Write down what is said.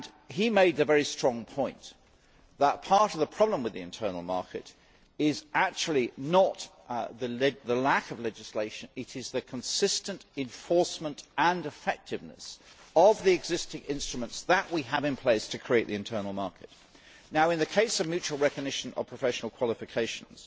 He made a very strong point that part of the problem with the internal market is actually not the lack of legislation, but the consistent enforcement and effectiveness of the existing instruments that we have in place to create the internal market. In the case of the mutual recognition of professional qualifications,